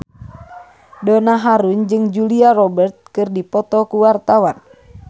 Donna Harun jeung Julia Robert keur dipoto ku wartawan